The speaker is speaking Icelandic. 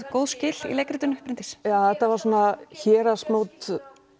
góð skil Bryndís þetta var svona héraðsmót